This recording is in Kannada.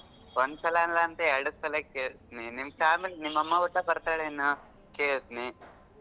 ಒಂದ್ಸಲ ಅಲ್ಲಾಂದ್ರೆ ಎರಡ್ಸಲಾ ಕೇಳ್ತೀನಿ ನಿಮ್ ನಿಮ್ ಅಮ್ಮಾ ಕೂಡಾ ಬರ್ತಾಳೇನು ಕೇಳ್ತೀನಿ.